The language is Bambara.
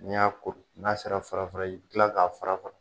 N'i y'a kuru n'a sera fara fara i bi kila k'a fara fara